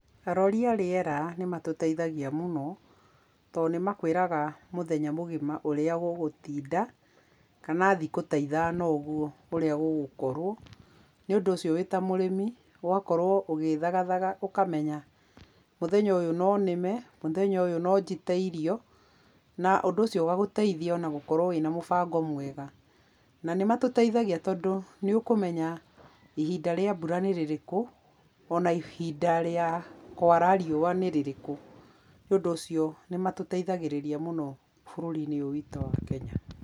Arori a rĩera nĩmatũteithagia mũno, tondũ nĩmakwĩraga mũthenya mũgima ũrĩa gũgũtinda, kana thikũ ta ithano ũguo ũrĩa gũgũkorwo. Nĩũndũ ũcio wĩ ta mũrĩmi ũgakorwo ũgĩthagathaga ũkamenya, mũthenya ũyũ nonĩme, mũthenya ũyũ nonjite irio, na ũndũ ũcio ũgagũteithia ona gũkorwo wĩna mũbango mwega. Nanĩmatũteithagia tondũ nĩũkũmenya ihinda rĩa mbura nĩ rĩrĩkũ, ona ihinda rĩa kwara riũa nĩ rĩrĩkũ. Nĩũndũ ũcio nĩmatũteithagĩrĩria mũno bũrũri-inĩ ũyũ witũ wa Kenya.